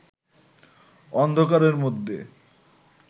অন্ধকারের মধ্যে